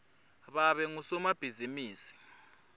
babe ngusomabhizimisi